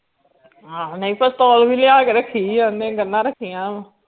ਨਈ ਪਿਸਤੌਲ ਵੀ ਲਿਆ ਕੇ ਰੱਖੀ ਆ ਓਹਨੇ ਗੰਨਾਂ ਰੱਖੀਆਂ ਵਾ